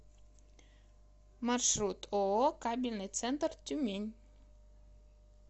маршрут ооо кабельный центр тюмень